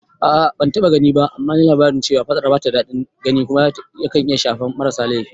A'a ban taɓa gani ba, amma naji labari cewa faɗar bata da daɗin gani kuma yakan iya shafan marasa laifi